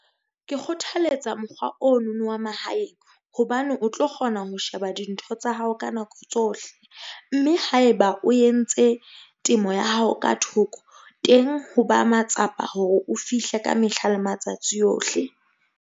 Ke kgothaletsa mokgwa ono no wa mahaeng hobane o tlo kgona ho sheba dintho tsa hao ka nako tsohle. Mme haeba o entse temo ya hao ka thoko teng, ho ba matsapa hore o fihle ka mehla le matsatsi ohle.